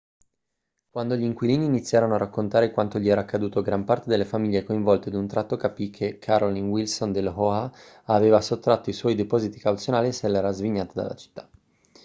quando gli inquilini iniziarono a raccontare quanto gli era accaduto gran parte delle famiglie coinvolte d'un tratto capì che carolyn wilson dell'oha aveva sottratto i suoi depositi cauzionali e se l'era svignata dalla città